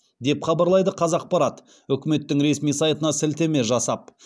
деп хабарлайды қазақпарат үкіметттің ресми сайтына сілтеме жасап